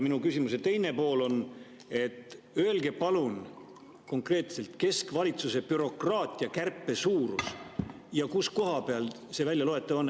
Minu küsimuse teine pool: öelge palun konkreetselt keskvalitsuse bürokraatia kärpe suurus ja mis koha peal see on väljaloetav.